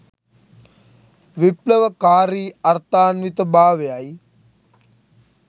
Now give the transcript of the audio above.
විප්ලවකාරී අර්ථාන්විත භාවයයි